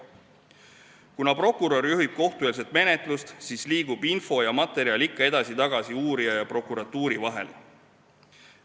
Kuna prokurör juhib kohtueelset menetlust, siis liigub info ja materjal ikka edasi-tagasi uurija ja prokuratuuri vahel.